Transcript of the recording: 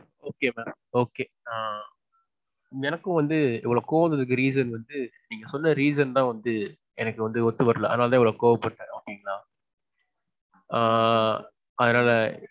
Okay mam okay ஆ எனக்கும் வந்து இவ்வளவு கோவம் வந்ததுக்கு reason வந்து, நீங்க சொன்ன reason தான் வந்து, எனக்கு வந்து ஒத்துவரல. அதனால தான் இவ்வளவு கோவ பட்டேன் okay ங்களா? ஆ அதனால.